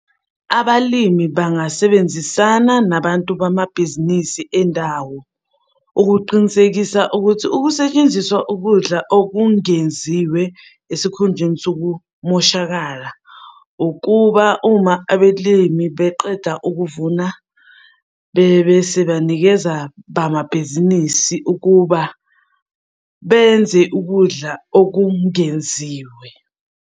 Abalimi bangasebenzisana nabantu bamabhizinisi endawo ukuqinisekisa ukuthi ukusetshenziswa ukudla okungenziwe esikhundleni sokumoshakala, ukuba uma abelimi beqeda ukuvuna bebese banikeza bamabhizinisi ukuba benze ukudla okungenziwe.